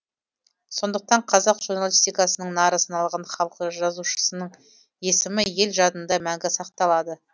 сондықтан қазақ журналистикасының нары саналған халқы жазушысының есімі ел жадында мәңгі сақталады